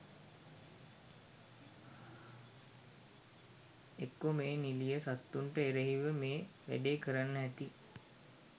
එක්කො මේ නිලිය සත්තුන්ට එරෙහිව මේ වැඩේ කරන්න ඇති